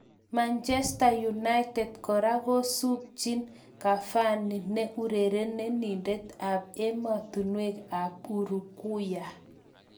Manchester United kora kosubchi Cavani ne urerenindet ab ematunwek ab Uruguay.